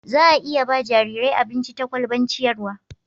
za a iya ba jarirai abinci ta kwalban ciyarwa